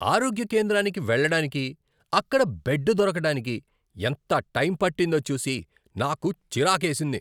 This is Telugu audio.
ఆరోగ్య కేంద్రానికి వెళ్లడానికి, అక్కడ బెడ్ దొరకడానికి ఎంత టైం పట్టిందో చూసి నాకు చిరాకేసింది.